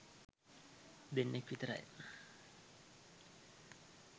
දෙන්නෙක් විතරයි.